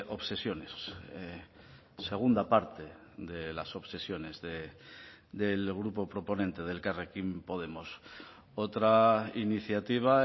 obsesiones segunda parte de las obsesiones del grupo proponente de elkarrekin podemos otra iniciativa